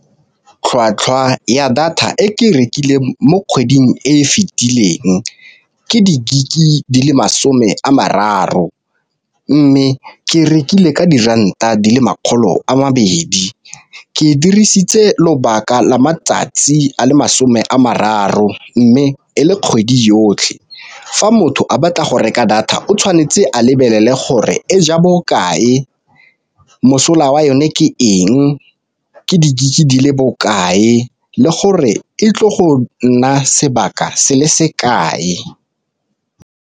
Tlhwatlhwa ya data e ke rekile mo kgweding e fitileng ke di-gig di le masome a mararo, mme ke rekile ka diranta di le makgolo a mabedi, ke e dirisitse lobaka la matsatsi a le masome a mararo, mme e le kgwedi yotlhe. Fa motho a batla go reka data o tshwanetse a lebelele gore e ja bo kae, mosola wa yone ke eng, ke di-gig di le bo kae le gore e tlile go nna sebaka se le se kae.